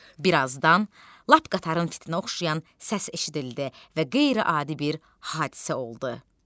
Bir azdan lap qatarın fitinə oxşayan səs eşidildi və qeyri-adi bir hadisə oldu.